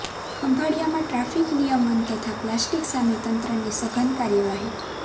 ખંભાળિયામાં traffic નિયમન તથા plastic સામે તંત્રની સઘન કાર્યવાહી